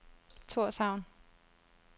Torshavn